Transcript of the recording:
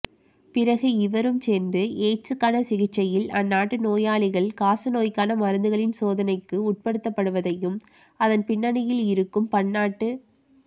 பிறகு இருவரும் சேர்ந்து எய்ட்ஸ்க்கான சிகிச்சையில் அந்நாட்டு நோயாளிகள் காசநோய்க்கான மருந்துகளின் சோதனைக்கு உட்படுத்தப்படுவதையும் அதன் பின்னணியிலிருக்கும் பன்னாட்டு